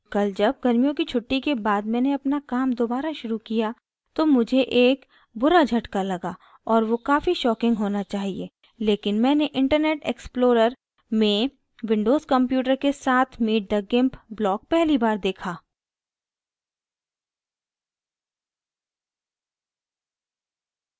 कल जब गर्मियों की छुट्टी के बाद मैंने अपना काम दोबारा शुरू किया तो मुझे एक बुरा झटका लगा और वो काफी shocking होना चाहिए लेकिन मैंने internet explorer में windows computer के साथ meet द gimp block पहली बार देखा